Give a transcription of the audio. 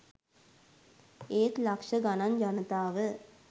ඒත් ලක්ෂ ගණන් ජනතාව